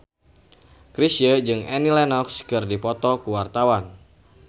Chrisye jeung Annie Lenox keur dipoto ku wartawan